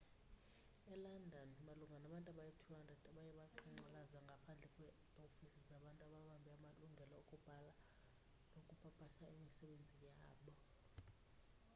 elondon malunga nabantu abayi-200 baye baqhankqalaza ngaphandle kweeofisi zabantu ababambe amalungelo okubhala nokupapasha imisebenzi yabo